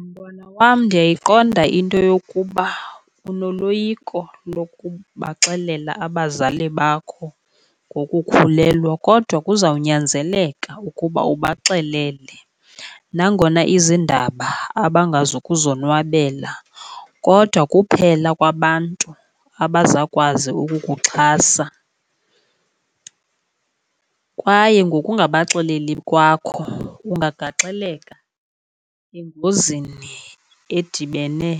Mntwana wam, ndiyayiqonda into yokuba unoloyiko lokubaxelela abazali bakho ngokukhulelwa kodwa kuzawunyanzeleka ukuba ubaxelele. Nangona izindaba abangazi kuzonwabela kodwa kuphela kwabantu abazawukwazi ukukuxhasa. Kwaye ngokungabaxeleli kwakho ungagaxeleka engozini edibene